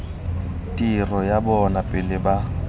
tiro ya bona pele ba